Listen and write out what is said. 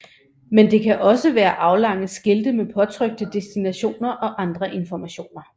Men det kan også være aflange skilte med påtrykte destinationer og andre informationer